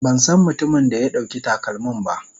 Ban san mutumin da ya ɗauki takalmin ba.